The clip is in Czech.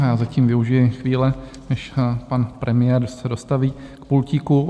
Já zatím využiji chvíle, než pan premiér se dostaví k pultíku.